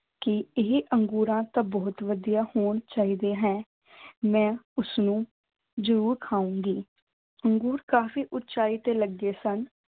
ਕਿ ਇਹ ਅੰਗੂਰਾਂ ਤਾਂ ਬਹੁਤ ਵਧੀਆ ਹੋਣੇ ਚਾਹੀਦੇ ਹੈ ਮੈਂ ਉਸਨੂੰ ਜ਼ਰੂਰ ਖਾਊਂਗੀ, ਅੰਗੂਰ ਕਾਫ਼ੀ ਉਚਾਈ ਤੇ ਲੱਗੇ ਸਨ।